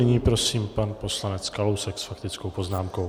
Nyní prosím pan poslanec Kalousek s faktickou poznámkou.